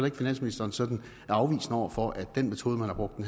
at finansministeren sådan er afvisende over for at den metode man har brugt